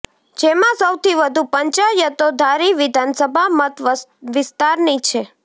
જેમાં સૌથી વધુ પંચાયતો ધારી વિધાનસભા મત વિસ્તારની છે